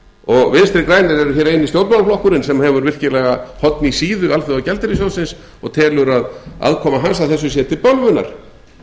og vinstri grænir er hér eini stjórnmálaflokkurinn sem hefur virkilega horn í síðu alþjóðagjaldeyrissjóðsins og telur að aðkoma hans að þessu sé til bölvunar